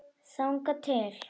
Þangað til